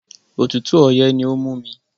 Òtútù ọyẹ́ ni ó mú mi.